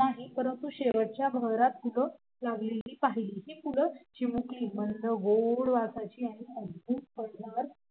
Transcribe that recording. नाही परंतु शेवटच्या बहरातफुल लागलेली पाहीली हि फुल चिमुकली मंद गोड वासाची आणि अदभूत फळदार